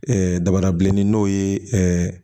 dabara bilenni n'o ye